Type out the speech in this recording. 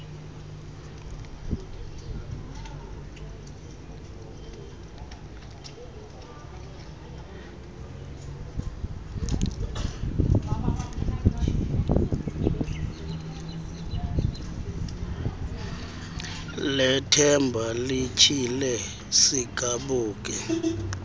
lethemba lityhile sigabuke